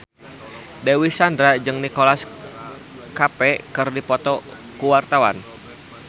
Dewi Sandra jeung Nicholas Cafe keur dipoto ku wartawan